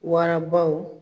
Warabaw